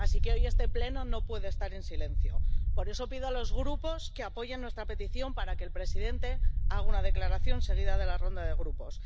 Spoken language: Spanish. Así que hoy este Pleno no puede estar en silencio. Por eso pido a los grupos que apoyen nuestra petición para que el presidente haga una declaración, seguida de la ronda de grupos.